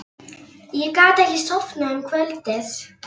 Ég gat ekki sofnað um kvöldið.